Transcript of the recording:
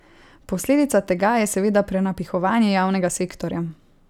Posledica tega je seveda prenapihovanje javnega sektorja.